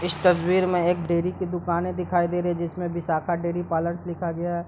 इस तस्वीर में एक डेरी की दुकाने दिखाई दे रही है जिसमे विशाखा डेरी पार्लर लिखा गया है।